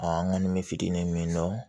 an kɔni bɛ fitinin min dɔn